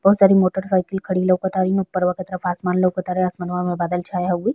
बहुत सारी motor cycle खड़ी लोकाता इन्हू ऊपर वा के तरफ आसमान लोकातारे आसमानवा में बादल छाए होउ।